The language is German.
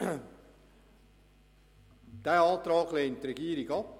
Diesen Antrag lehnt die Regierung ab.